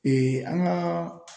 an ka